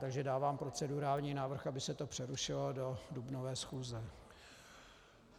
Takže dávám procedurální návrh, aby se to přerušilo do dubnové schůze.